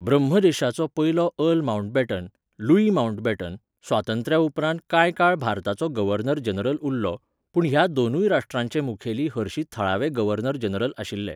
ब्रह्मदेशाचो पयलो earl Mountbatten, Louis Mountbatten, स्वातंत्र्या उपरांत कांय काळ भारताचो गव्हर्नर जनरल उरलो, पूण ह्या दोनूय राश्ट्रांचे मुखेली हरशीं थळावे गव्हर्नर जनरल आशिल्ले.